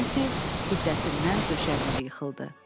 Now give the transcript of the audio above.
Nensi hiddətindən döşəməyə yıxıldı.